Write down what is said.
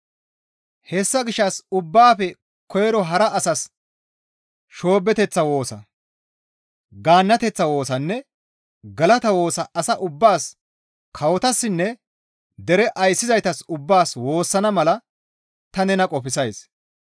Hessa gishshas ubbaafe koyro hara asas shoobeththa woosa, gaannateththa woosanne galata woosa asa ubbaas kawotassinne dere ayssizaytas ubbaas woossana mala ta nena qofsays.